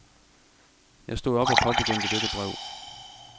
Jeg stod op og påbegyndte dette brev.